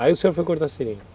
Aí o senhor foi cortar seringa?